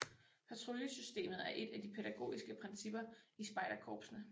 Patruljesystemet er et af de pædagogiske principper i spejderkorpsene